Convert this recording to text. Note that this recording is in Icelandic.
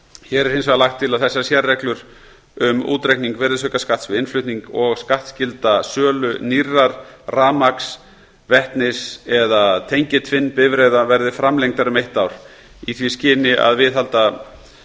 hér er hins vegar lagt til að þessar sérreglur um útreikning virðisaukaskatts við innflutning og skattskylda sölu nýrra rafmagns vetnis eða tengiltvinnbifreiða verði framlengdar um eitt ár í því skyni að viðhalda